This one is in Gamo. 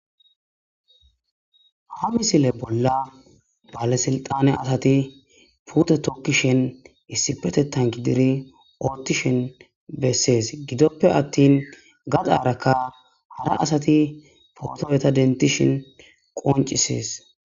ha misile bolla balesilxane asati puute tookisheni issipetetan gididi ottishin bessees gidoppe attin gadaarakka hara asati potuwa dentishin qoncisees